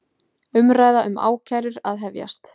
Umræða um ákærur að hefjast